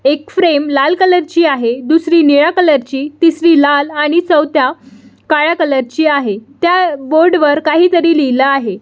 एक फ्रेम लाल कलर ची आहे दुसरी निळ्या कलर ची तिसरी लाल आणि चौथ्या काळ्या कलर ची आहे त्या बोर्ड वर काहीतरी लिहिलं आहे.